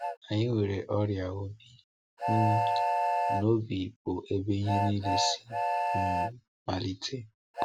Anyị nwere ọrịa obi, um na obi bụ ebe ihe niile si um malite.